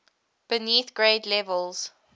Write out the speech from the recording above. beneath grade levels